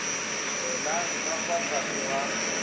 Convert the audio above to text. welang ka fa tlase ga